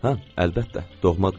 Hə, əlbəttə, doğmadırlar.